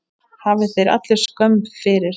Hafi þeir allir skömm fyrir!